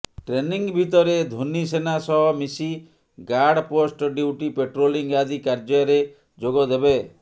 training ଭିତରେ ଧୋନି ସେନା ସହ ମିଶି ଗାର୍ଡ ପୋଷ୍ଟ ଡ୍ୟୁଟି ପାଟ୍ରୋଲିଂ ଆଦି କାର୍ଯ୍ୟାରେ ଯୋଗ ଦେବେ